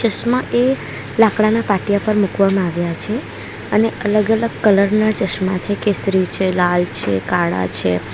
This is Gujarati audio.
ચશ્મા એ લાકડાના પાટિયા પર મુકવામાં આવ્યા છે અને અલગ-અલગ કલરના ચશ્મા છે કેસરી છે લાલ છે કાળા છે.